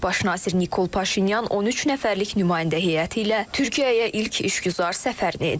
Baş nazir Nikol Paşinyan 13 nəfərlik nümayəndə heyəti ilə Türkiyəyə ilk işgüzar səfərini edir.